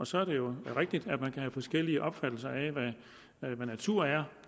så er det jo rigtigt at man kan have forskellige opfattelser af hvad natur er